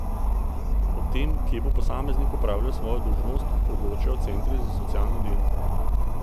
O tem, kje bo posameznik opravljal svojo dolžnost, odločajo centri za socialno delo.